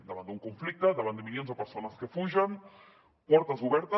davant d’un conflicte davant de milions de persones que fugen portes obertes